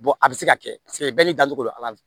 a bɛ se ka kɛ paseke bɛɛ n'i dacogo don ala